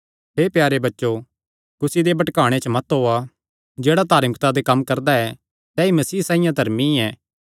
हे प्यारे बच्चो कुसी दे भटकाणे च मत ओआ जेह्ड़ा धार्मिकता दे कम्म करदा ऐ सैई मसीह साइआं धर्मी ऐ